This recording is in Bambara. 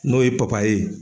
N'o ye ye.